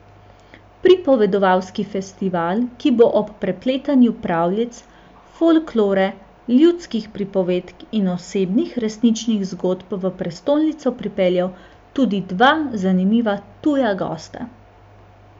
Pripovedovalski festival, ki bo ob prepletanju pravljic, folklore, ljudskih pripovedk in osebnih, resničnih zgodb v prestolnico pripeljal tudi dva zanimiva tuja gosta.